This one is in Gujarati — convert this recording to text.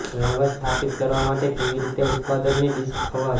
ડ્રાઈવર સ્થાપિત કરવા માટે કેવી રીતે ઉત્પાદકની ડિસ્ક અવાજ